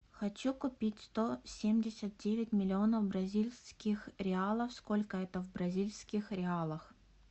хочу купить сто семьдесят девять миллионов бразильских реалов сколько это в бразильских реалах